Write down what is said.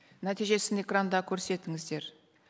нәтижесін экранда көрсетіңіздер